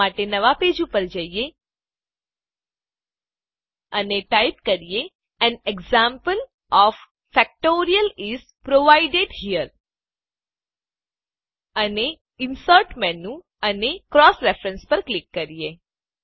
આ માટે નવાં પેજ પર જઈએ અને ટાઈપ કરીએ an example of factorial is provided here અને ઇન્સર્ટ મેનું અને ક્રોસ રેફરન્સ પર ક્લિક કરીએ